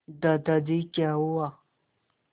दादाजी क्या हुआ